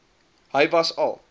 hy was al